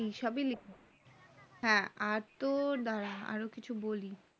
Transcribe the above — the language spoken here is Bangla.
হ্যাঁ আর তোর দ্বারা আরও কিছু বলি